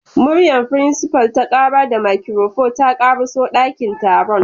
Muryar principal ta kara da makirufo ta karaso dakin taron.